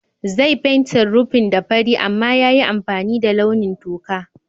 Zai fentin rufin da fari amma ya yi amfani da launin toka.